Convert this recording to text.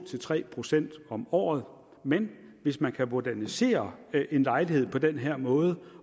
tre procent om året men hvis man kan modernisere en lejlighed på den her måde